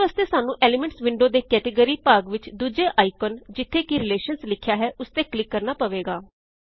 ਇਸ ਵਾਸਤੇ ਸਾਨੂੰ ਐਲੀਮੈਂਟਸ ਵਿੰਡੋ ਦੇ ਕੈਟੇਗਰੀਜ਼ ਭਾਗ ਵਿੱਚ ਦੂਜੇ ਆਇਕਨ ਜਿੱਥੇ ਰਿਲੇਸ਼ਨਜ਼ ਲਿਖਿਆ ਹੈ ਓਸ ਤੇ ਕਲਿਕ ਕਰਨਾ ਪਵੇਗਾ